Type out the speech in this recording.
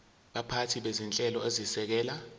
baphathi bezinhlelo ezisekela